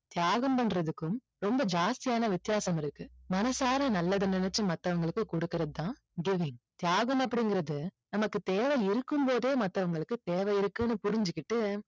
தியாகம் பண்றதுக்கும் ரொம்ப ஜாஸ்தியான வித்தியாசம் இருக்கு மனசார நல்லதை நினைச்சி மத்தவங்களுக்கு கொடுக்குறது தான் giving தியாகம் அப்படிங்குறது நமக்குத் தேவை இருக்கும் போதே மற்றவங்களுக்கு தேவை இருக்குன்னு புரிஞ்சிகிட்டு